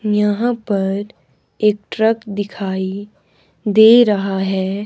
यहां पर एक ट्रक दिखाई दे रहा है।